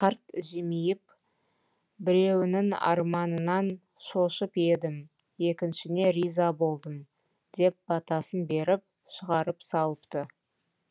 қарт жымиып біреуіңнің арманыңнан шошып едім екіншіңе риза болдым деп батасын беріп шығарып салыпты